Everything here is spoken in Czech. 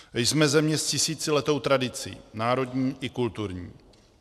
Jsme země s tisíciletou tradicí národní i kulturní.